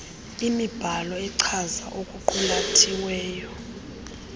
imibhalo echaza okuqulathiweyo